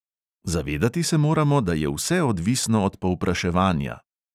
Zavedati se moramo, da je vse odvisno od povpraševanja.